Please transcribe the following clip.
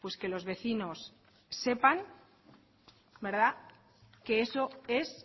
que los vecinos sepan que eso es